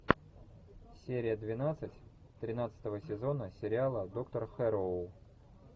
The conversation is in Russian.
серия двенадцать тринадцатого сезона сериала доктор хэрроу